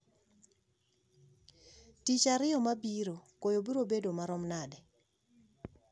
tich ariyo mabiro koyo biro bedo marom nade